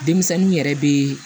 Denmisɛnninw yɛrɛ bɛ